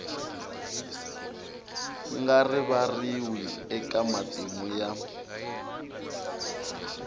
nga rivariwi eka matimu ya